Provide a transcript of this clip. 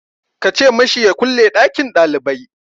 Ka ce ma shi ya kulle ɗakin ɗalibai!